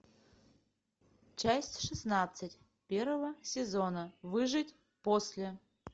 часть шестнадцать первого сезона выжить после